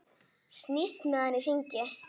Snýst með hann í hringi.